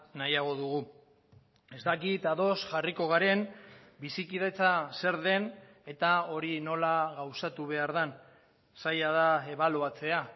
nahiago dugu ez dakit ados jarriko garen bizikidetza zer den eta hori nola gauzatu behar den zaila da ebaluatzea